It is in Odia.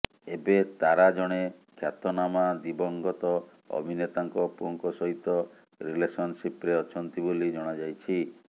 ଏବେ ତାରା ଜଣେ ଖ୍ୟାତନାମା ଦିବଙ୍ଗତ ଅଭିନେତାଙ୍କ ପୁଅଙ୍କ ସହିତ ରିଲେସନସିପ୍ରେ ଅଛନ୍ତି ବୋଲି ଜଣାଯାଇଛି